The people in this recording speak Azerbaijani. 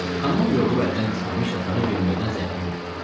Tamam yorulub əldən düşməmiş yatağa girməkdən zəhləm gedirdi.